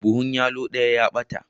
Buhun yallo daya ya bata.